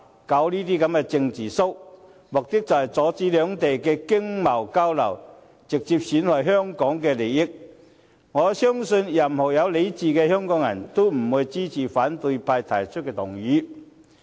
他們這種"政治 show"， 目的便是阻止兩地的經貿交流，直接損害香港的利益，我相信任何有理智的香港人，也不會支持反對派提出的修正案。